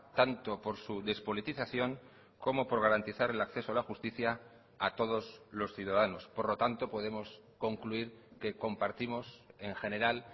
tanto por su despolitización como por garantizar el acceso a la justicia a todos los ciudadanos por lo tanto podemos concluir que compartimos en general